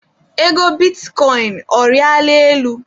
Ego bitikọịn, ọ riala elu?